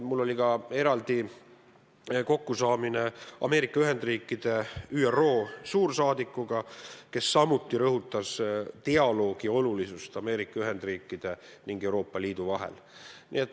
Mul oli ka eraldi kokkusaamine Ameerika Ühendriikide suursaadikuga ÜRO-s, kes samuti rõhutas, et dialoog Ameerika Ühendriikide ja Euroopa Liidu vahel on oluline.